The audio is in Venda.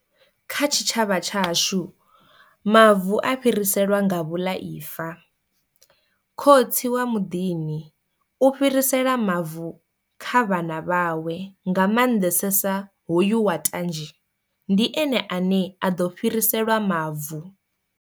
Kha tshitshavha tshashu mavu a fhiriselwa nga vhulaifa, khotsi wa muḓini u fhirisela mavu kha vhana vhawe nga mannḓesesa hoyu wa tanzhe ndi ene ane a ḓo fhiriselwa mavu.